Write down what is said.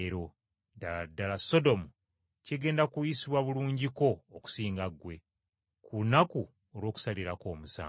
Ddala ddala Sodomu kigenda kuyisibwa bulungiko, okusinga ggwe, ku lunaku olw’okusalirako omusango!”